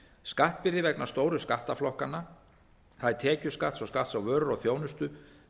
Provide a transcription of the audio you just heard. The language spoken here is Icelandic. skattbyrði vegna stóru skattaflokkanna það er tekjuskatts og skatts á vöru og þjónustu